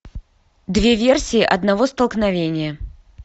две версии одного столкновения